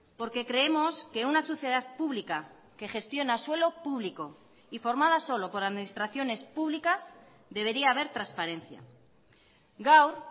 porque creemos que una sociedad pública que gestiona suelo público y formada solo por administraciones públicas debería haber transparencia gaur